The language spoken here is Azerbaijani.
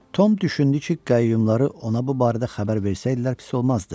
Tom düşündü ki, qayyumları ona bu barədə xəbər versəydilər pis olmazdı.